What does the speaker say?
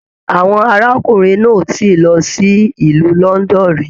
Àwọn arákùnrin náà o tíì lọ sílù London rí.